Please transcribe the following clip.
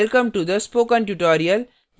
welcome to the spokentutorial